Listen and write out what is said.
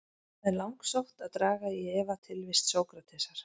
Það er langsótt að draga í efa tilvist Sókratesar.